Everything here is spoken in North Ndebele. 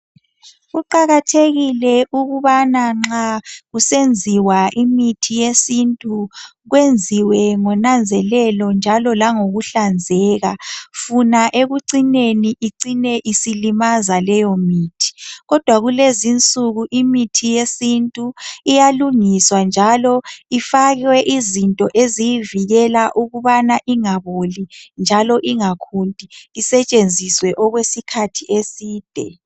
Kuqakathekile ukubana nxa kusenziwa imithi yesintu kwenziwe ngonanzelelo njalo langokuhlanzeka. Funa ekucineni icine isilimaza laleyo mithi kodwa kulezi insuku imithi yesintu iyalungiswa njalo ifakwe izinto ezivikela ukubana ingaboli njalo ingakhunti isetshenziswe okwesikhathi eside.